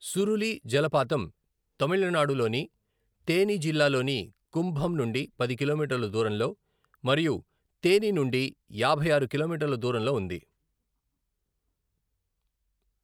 సురులి జలపాతం తమిళనాడులోని తేని జిల్లాలోని కుంభం నుండి పది కిలోమీటర్ల దూరంలో, మరియు తేని నుండి యాభై ఆరు కిలోమీటర్ల దూరంలో ఉంది.